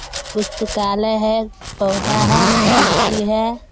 पुस्तकालय है पौधा है खिड़की है।